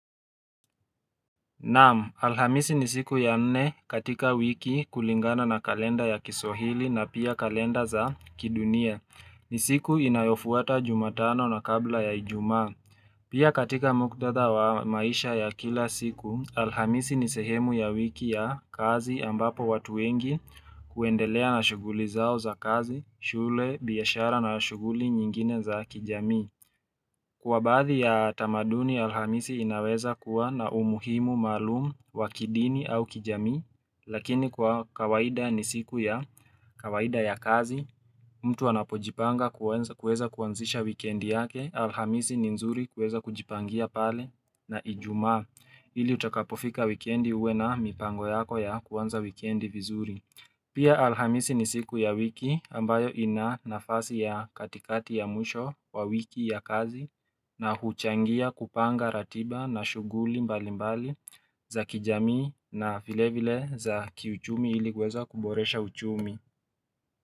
Naamu, alhamisi ni siku ya nne katika wiki kulingana na kalenda ya kiswahili na pia kalenda za kidunia. Ni siku inayofuata jumatano na kabla ya ijuma. Pia katika muktadha wa maisha ya kila siku, alhamisi ni sehemu ya wiki ya kazi ambapo watu wengi kuendelea na shuguli zao za kazi, shule, biyashara na shuguli nyingine za kijami. Kwa baadhi ya tamaduni alhamisi inaweza kuwa na umuhimu malumu wa kidini au kijami, lakini kwa kawaida ni siku ya kawaida ya kazi, mtu anapojipanga kuweza kuanzisha wikendi yake, alhamisi ni nzuri kuweza kujipangia pale na ijuma. Hili utakapofika wikiendi uwe na mipango yako ya kuanza wikiendi vizuri. Pia alhamisi ni siku ya wiki ambayo ina nafasi ya katikati ya mwisho wa wiki ya kazi na huchangia kupanga ratiba na shuguli mbali mbali za kijami na vilevile za kiuchumi hili kweza kuboresha uchumi.